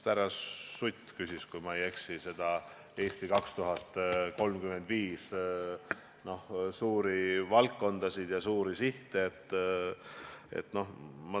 Härra Sutt küsis, kui ma ei eksi, üldjoontes "Eesti 2035" suurte valdkondade ja suurte sihtide kohta.